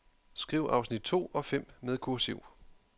Skriv afsnit to og fem med kursiv.